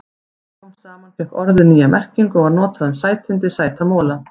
Smám saman fékk orðið nýja merkingu og var notað um sætindi, sæta mola.